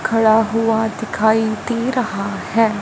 खड़ा हुआ दिखाई दे रहा हैं।